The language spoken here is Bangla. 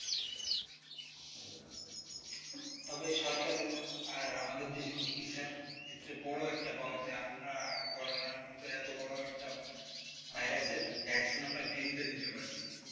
তবে সরকারের আর আমাদের দেশে চিকিৎসার ক্ষেত্রে বড় একটা পাওয়া যে, আমরা করোনার মতো এত বড় virus vaccine আমরা free তে দিতে পারছি।